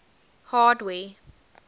hardware